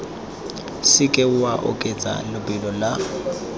seke wa oketsa lebelo la